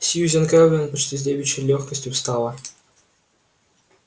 сьюзен кэлвин почти с девичьей лёгкостью встала